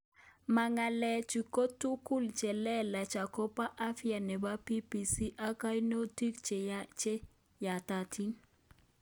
Makalaichu ko tuguuk cheleelach akobo afya nebo BBC ak kainoutik che yatatiin